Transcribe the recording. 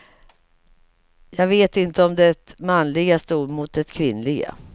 Jag vet inte om det manliga stod mot det kvinnliga.